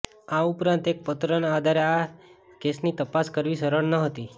આ ઉપરાંત એક પત્રના આધારે આ કેસની તપાસ કરવી સરળ નહતી